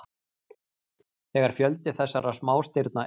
þegar fjöldi þessara smástirna eykst